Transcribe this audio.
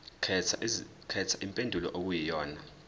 khetha impendulo okuyiyona